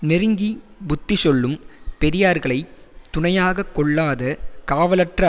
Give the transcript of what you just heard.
நெருங்கி புத்தி சொல்லும் பெரியார்களைத் துணையாக கொள்ளாத காவலற்ற